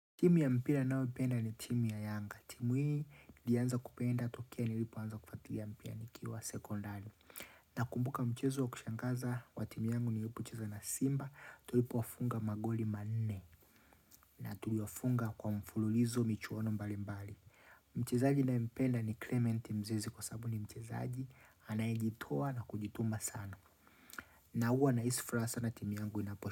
Timu ya mpira nanayo ipenda ni timu ya yanga. Timu hii nilanza kupenda tokea ni lipo anza kufuatilia mpira ni kiwa sekondari. Na kumbuka mchezo wa kushangaza wa timu yangu ni lipocheza na simba, tulipo wafunga magoli manne na tuliwafunga kwa mfululizo michuano mbali mbali. Mchezaji ninaye mpenda ni Clement mzezi kwa sababu ni mchezaji, anayijitoa na kujituma sana. Na huwa nahisi furaha sana timu yangu inaposha.